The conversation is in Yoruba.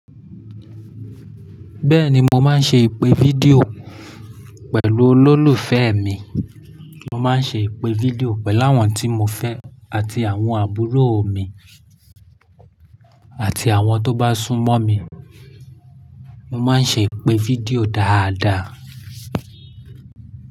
Bẹ́ẹ̀ni, mo máa ń ṣe ìpè fídíò pẹ̀lú olólùfẹ́ mi, mo máa ń ṣe ìpè fídíò pẹ̀lú àwọn tí mo fẹ́ àti àwọn àbúrò mi àti àwọn tó bá súnmọ́ mi, mo máa ń ṣe ìpè fídíò dáadáa.